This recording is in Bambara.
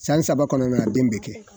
San saba kɔnɔna na, den bɛ kɛ.